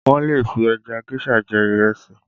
Wọn lè fi ẹja géṣà jẹ ìrẹsì